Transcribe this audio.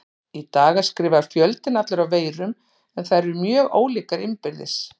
Í dag er skrifaður fjöldinn allur af veirum en þær eru mjög ólíkar innbyrðis.